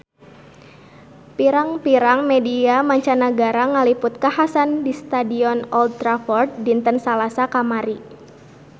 Pirang-pirang media mancanagara ngaliput kakhasan di Stadion Old Trafford dinten Salasa kamari